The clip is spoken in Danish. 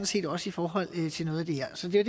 set også i forhold til noget af det her så det